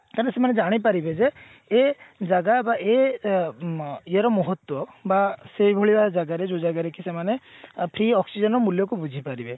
କାଇଁ କି ନା ସେମାନେ ଜାଣିପାରିବେ ଯେ ଏ ଜାଗା ବା ଏ ମ ଏୟା ର ମହତ୍ଵ ତ ବା ସେଇଭଳିଆ ଜାଗାରେ ଯୋଉ ଜାଗାରେ କି ସେମାନେ ଏଇ oxygen ର ମୂଲ୍ୟକୁ ବୁଝିପାରିବେ